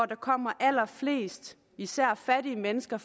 der kommer allerflest især fattige mennesker